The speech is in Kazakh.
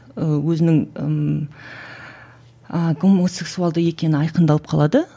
ііі өзінің ммм гомосексуалды екені айқындалып қалады